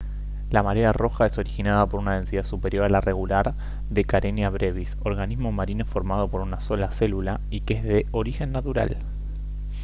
la marea roja es originada por una densidad superior a la regular de karenia brevis organismo marino formado por una sola célula y que es de origen natural